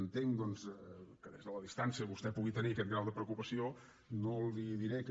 entenc doncs que des de la distància vostè pugui tenir aquest grau de preocupació no li diré que